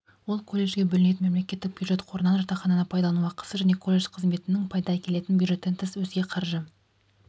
ол колледжге бөлінетін мемлекеттік бюджет қорынан жатақхананы пайдалану ақысы және колледж қызметінің пайда әкелетін бюджеттен тыс өзге қаржы